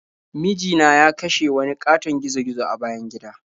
Miji na ya kashe wani ƙatoton gizo-gizo a bayan gida.